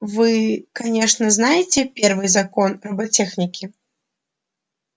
вы конечно знаете первый закон роботехники